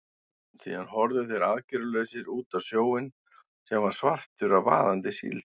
Síðan horfðu þeir aðgerðalausir út á sjóinn, sem var svartur af vaðandi síld.